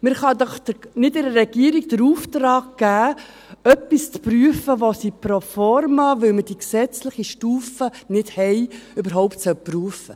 Man kann doch der Regierung nicht den Auftrag geben, etwas zu prüfen, das sie pro forma prüft, weil wir die gesetzliche Stufe nicht haben.